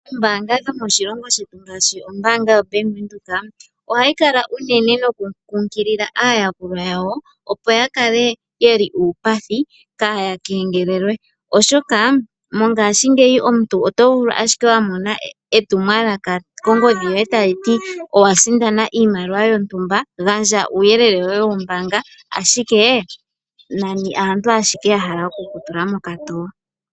Ombaanga dhomoshilongo shetu ngaashi ombaanga yo Bank Windhoek ohayi kala unene noku kunkilila aayakulwa yawo opo yakale yeli uupathi kaya kengelelwe ,oshoka mongaashingeyi omuntu otovulu ashike wamona etumwalaka kongodhi yoye taliti owa sindana iimaliwa yontumba gandja uuyelele woye wombaanga ashike nani aantu ashike yahala oku kutula mokatoo.